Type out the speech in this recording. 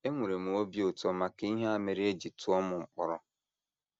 Enwere m obi ụtọ maka ihe a mere e ji tụọ m mkpọrọ. ”